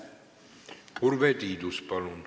Urve Tiidus, palun!